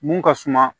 Mun ka suma